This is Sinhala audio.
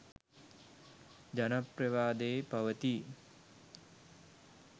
ජනප්‍රවාදයේ පවතී